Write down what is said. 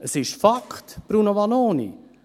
Es ist ein Fakt, Bruno Vanoni: